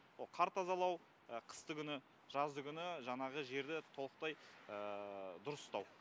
о қар тазалау қыстыгүні жаздыгүні жаңағы жерді толықтай дұрыстау